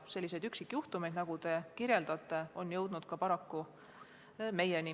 Selliseid üksikjuhtumeid, nagu te kirjeldasite, on jõudnud paraku ka meieni.